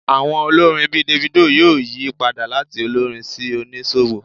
Àwọn olórin bíi Davido yóò yí padà láti olórin sí oníṣòwò